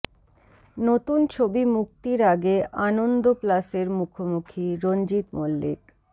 নতুন ছবি মুক্তির আগে আনন্দ প্লাসের মুখোমুখি রঞ্জিত মল্লিক